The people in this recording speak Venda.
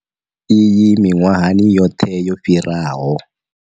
Iyi miṅwahani yoṱhe yo fhiraho.